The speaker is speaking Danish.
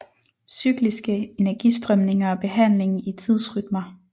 Cykliske energistrømninger og behandling i tidsrytmer